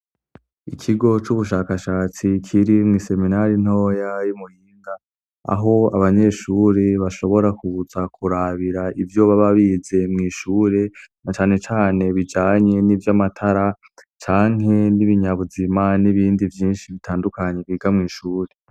Ikigo c'ubushakashatsi kiri mw'iseminari ntoya y'i Muyinga, aho abanyeshuri bashobora kuza kurabira ivyo baba bize mw'ishure, na cane cane bijanye n'ivy'amatara, canke n'ibinyabuzi n'ibindi vyinshi bitandukanye biga mw'ishure.